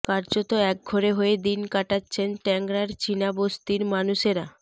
কার্যত একঘরে হয়ে দিন কাটাচ্ছেন ট্যাংরার চিনা বসতির মানুষেরা